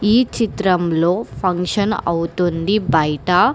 ఈ చిత్రంలో ఫంక్షన్ అవుతుంది బయట.